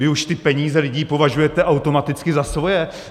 Vy už ty peníze lidí považujete automaticky za svoje!